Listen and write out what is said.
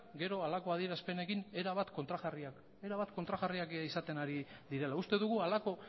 gero halako adierazpenekin erabat kontrajarriak izaten ari direla uste dugu halako